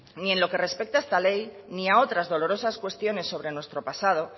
ni en lo que respecta a esta ley ni a otras dolorosas cuestiones sobre nuestro pasado